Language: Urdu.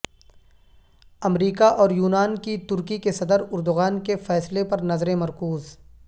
امریکہ اور یونان کی ترکی کے صدر اردغان کے فیصلے پر نظریں مرکوز